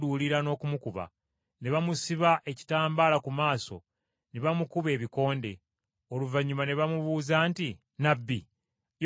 Ne bamusiba ekitambaala ku maaso ne bamukuba ebikonde, oluvannyuma ne bamubuuza nti, “Nnabbi! yogera ani akukubye?”